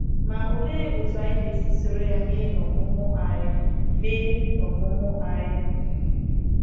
Ma òlee otú anyị ga-esi soro ya mee n’ọmụmụ anyị? mee n’ọmụmụ anyị?